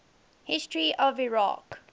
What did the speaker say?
history of iraq